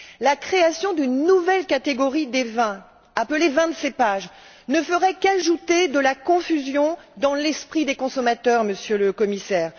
La création d'une nouvelle catégorie de vins appelée vins de cépage, ne ferait qu'ajouter de la confusion dans l'esprit des consommateurs, Monsieur le Commissaire.